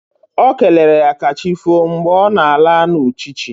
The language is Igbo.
Okelere ya kachifo mgbe ọ na-ala na uchichi